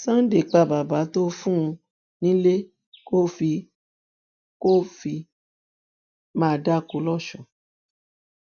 sunday pa bàbà tó fún un nílé kó fi kó fi máa dáko lọsùn